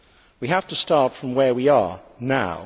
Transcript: We have to start from where we are, now.